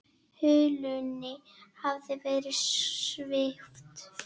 Hulunni hafði verið svipt frá.